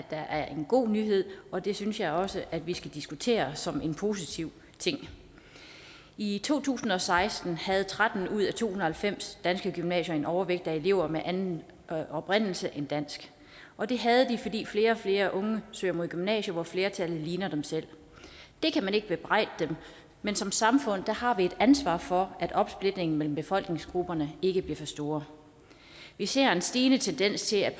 er en god nyhed og det synes jeg også vi skal diskutere som en positiv ting i to tusind og seksten havde tretten ud af to hundrede og halvfems danske gymnasier en overvægt af elever med anden oprindelse end dansk og det havde de fordi flere og flere unge søger mod gymnasier hvor flertallet ligner dem selv det kan man ikke bebrejde dem men som samfund har vi et ansvar for at opsplitningen mellem befolkningsgrupperne ikke bliver for stor vi ser en stigende tendens til at